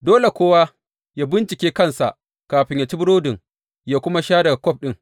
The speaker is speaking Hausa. Dole kowa yă bincike kansa kafin yă ci burodin yă kuma sha daga kwaf ɗin.